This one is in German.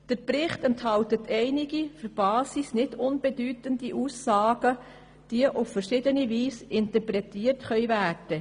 Der Bericht enthält einige wichtige grundsätzliche Aussagen, die auf verschiedene Weise interpretiert werden können.